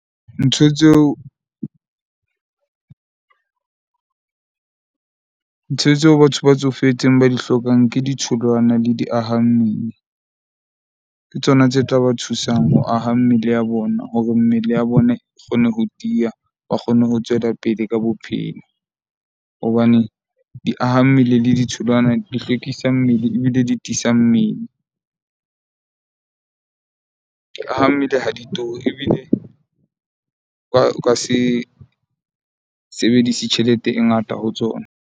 Ntho tseo ntho tseo batho ba tsofetseng ba di hlokang ke ditholwana le diaha mmele. Ke tsona tse tla ba thusang ho aha mmele ya bona, hore mmele ya bona e kgone ho tiya. Ba kgone ho tswela pele ka bophelo hobane diaha mmele le di ditholwana di hlwekisa mmele ebile di tiisa mmele. Di aha mmele ha di turi ebile ba ka se sebedise tjhelete e ngata ho tsona.